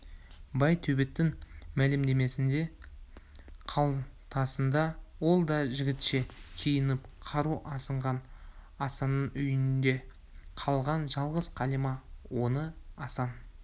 байтөбеттің мәлімдемесі қалтасында ол да жігітше киініп қару асынған асанның үйінде қалған жалғыз қалима оны асан